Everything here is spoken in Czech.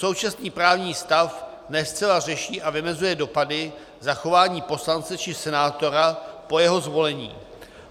Současný právní stav ne zcela řeší a vymezuje dopady zachování poslance či senátora po jeho zvolení.